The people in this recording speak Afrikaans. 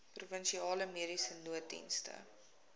provinsiale mediese nooddienste